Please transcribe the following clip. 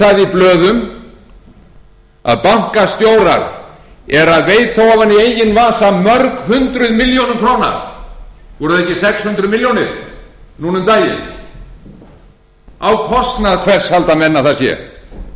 blöðum að bankastjórar eru að veita ofan í eigin vasa mörg hundruð milljóna króna voru það ekki sex hundruð milljónir núna um daginn á kostnað hvers halda menn að það sé hvaðan koma þessir